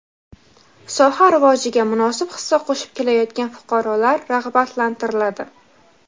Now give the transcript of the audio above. soha rivojiga munosib hissa qo‘shib kelayotgan fuqarolar rag‘batlantiriladi.